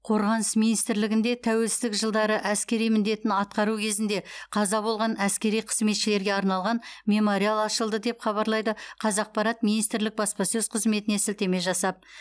қорғаныс министрлігінде тәуелсіздік жылдары әскери міндетін атқару кезінде қаза болған әскери қызметшілерге арналған мемориал ашылды деп хабарлайды қазақпарат министрлік баспасөз қызметіне сілтеме жасап